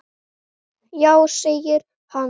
Já segir hann.